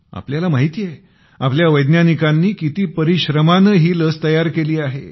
आपल्याला माहित आहे आपल्या वैज्ञानिकांनी किती परिश्रमाने ही लस तयार केली आहे